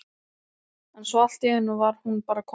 en svo allt í einu var hún bara komin!